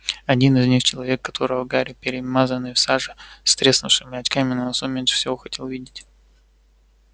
один из них человек которого гарри перемазанный в саже с треснувшими очками на носу меньше всего хотел видеть